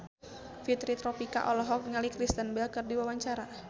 Fitri Tropika olohok ningali Kristen Bell keur diwawancara